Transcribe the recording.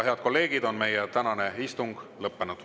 Head kolleegid, meie tänane istung on lõppenud.